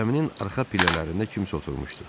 Cəminin arxa pillələrində kimsə oturmuşdu.